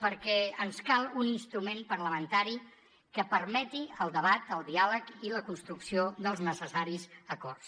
perquè ens cal un instrument parlamentari que permeti el debat el diàleg i la construcció dels necessaris acords